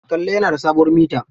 Kalla yana da sabuwar mita.